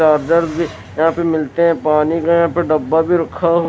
charger भी यहाँ पे मिलते है पानी का यहाँ पे डब्बा भी रखा हु --